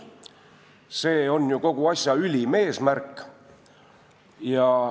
See on ju kogu asja ülim eesmärk.